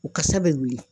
U kasa bɛ wuli